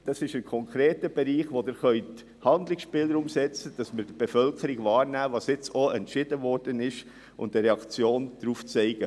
Es ist ein konkreter Bereich, bei dem man Handlungsspielraum ausschöpfen und die Reaktion der Bevölkerung auf den Entscheid wahrnehmen kann.